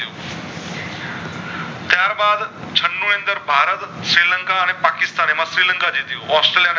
ત્યાર બાદ છનું અંદર ભારત શ્રીલંકા અને પકિસ્થાન એમાં શ્રીલંકા જીત્યું ઑસ્ટ્રેલિયા